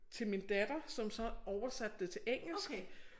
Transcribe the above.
Til min datter som så oversatte det til engelsk